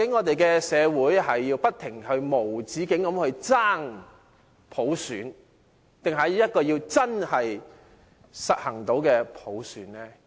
究竟社會要不停地無止境爭取普選，還是真的可以實行普選呢？